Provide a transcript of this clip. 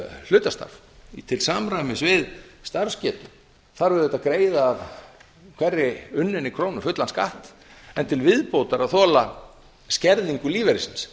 hlutastarf til samræmis við starfsgetu þarf auðvitað að greiða fullan skatt af hverri unninni krónu en til viðbótar að þola skerðingu lífeyrisins